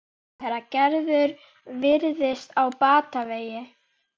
Björnssyni sendiherra: Gerður virðist á batavegi.